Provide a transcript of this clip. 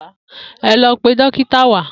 E̩ lo̩ pe dókítà wá!